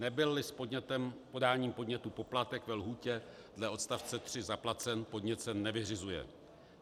Nebyl-li s podáním podnětu poplatek ve lhůtě dle odstavce 3 zaplacen, podnět se nevyřizuje.